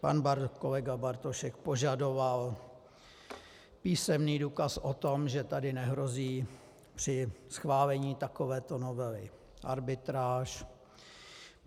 Pan kolega Bartošek požadoval písemný důkaz o tom, že tady nehrozí při schválení takovéto novely arbitráž.